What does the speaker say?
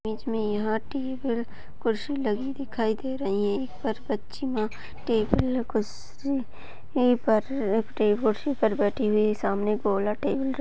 बीच में यह टेबल कुर्सी लगी दिखाई दे रही है यहाँ पर बच्चियां टेबल कुर्सी पर कुर्सी पर बैठी हुई सामने गोला टेबल --